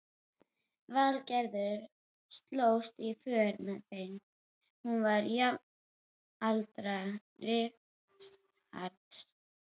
Valgerður slóst í för með þeim, hún var jafnaldra Richards.